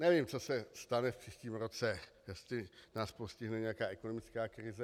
Nevím, co se stane v příštím roce, jestli nás postihne nějaká ekonomická krize.